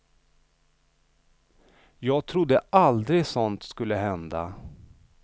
Jag trodde aldrig sådant skulle hända.